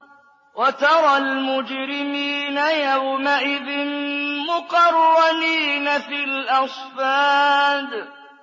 وَتَرَى الْمُجْرِمِينَ يَوْمَئِذٍ مُّقَرَّنِينَ فِي الْأَصْفَادِ